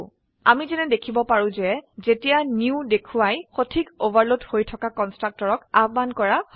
আমি যেনে দেখিব পাৰো যে যেতিয়া নিউ দেখোৱাই সঠিক ওভাৰলোড হৈ থকা কন্সট্ৰাকটৰক আহ্বান কৰা হয়য়